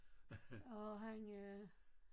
Åh han er